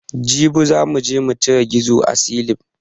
Jibi za muje mucire gizo a silin